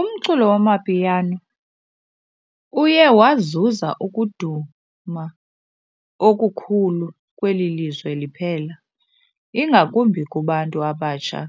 Umculo wamapiano uye wazuza ukuduma okukhulu kweli lizwe liphela, ingakumbi kubantu abatsha